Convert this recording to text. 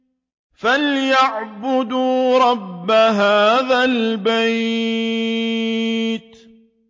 فَلْيَعْبُدُوا رَبَّ هَٰذَا الْبَيْتِ